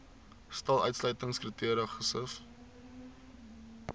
stel uitsluitingskriteria gesif